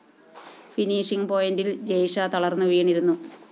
finishing പോയിന്റില്‍ ജെയ്ഷ തളര്‍ന്നു വീണിരുന്നു